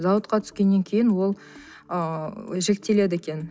зауытқа түскеннен кейін ол ыыы жіктеледі екен